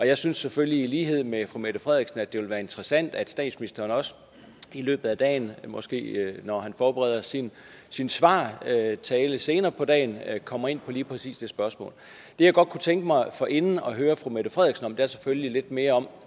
jeg synes selvfølgelig i lighed med fru mette frederiksen at det ville være interessant at statsministeren også i løbet af dagen måske når han forbereder sin sin svartale senere på dagen kommer ind på lige præcis det spørgsmål det jeg godt kunne tænke mig forinden at høre fru mette frederiksen om er selvfølgelig lidt mere om